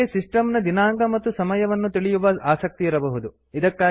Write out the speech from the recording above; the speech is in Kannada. ನಿಮಗೆ ಸಿಸ್ಟಮ್ ನ ದಿನಾಂಕ ಮತ್ತು ಸಮಯವನ್ನು ತಿಳಿಯುವ ಆಸಕ್ತಿ ಇರಬಹುದು